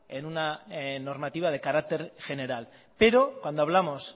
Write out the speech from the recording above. en una normativa de carácter general pero cuando hablamos